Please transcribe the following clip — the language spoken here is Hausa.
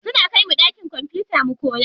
Suna kaimu ɗakin kwamfuta mu koya.